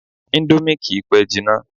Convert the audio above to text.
Indomie kìí pẹ́ jina